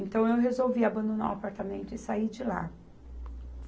Então eu resolvi abandonar o apartamento e sair de lá.